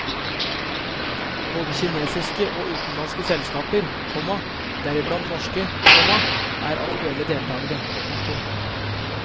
Både kinesiske og utenlandske selskaper, komma deriblant norske, komma er aktuelle deltakere. punktum